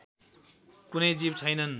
कुनै जीव छैनन्